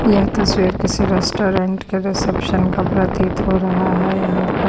यह तस्वीर किसी रेस्टोरेंट के रिसेप्शन का प्रतीत हो रहा है यहाँ पर--